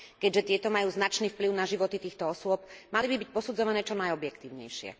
Keďže tieto majú značný vplyv na životy týchto osôb, mali by byť posudzované čo najobjektívnejšie.